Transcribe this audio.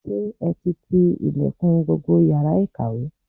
Ṣé ẹ ti ti ilẹ̀kùn gbogbo yàrá ìkàwé?